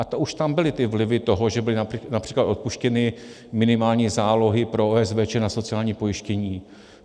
A to už tam byly ty vlivy toho, že byly například odpuštěny minimální zálohy po OSVČ na sociální pojištění.